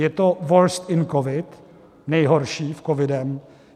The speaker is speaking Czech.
Je to worst in covid, nejhorší v covidu.